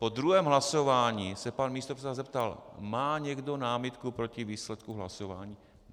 Po druhém hlasování se pan místopředseda zeptal: Má někdo námitku proti výsledku hlasování?